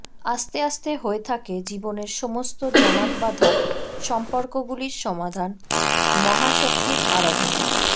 আস্তে আস্তে হয়ে থাকে জীবনের সমস্ত জমাটবাঁধা সম্পর্কগুলির সমাধান মহাশক্তির আরাধনায়